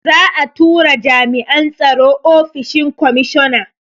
Za'a tura jami'an tsaro ofishin komishona.